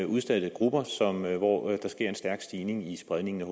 udsatte grupper hvor der sker en stærk stigning i spredningen af